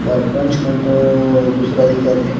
और पूछ में तो दूसरा दिखत है।